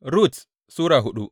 Rut Sura hudu